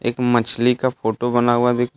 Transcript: मछली का फोटो बना हुआ दिख र--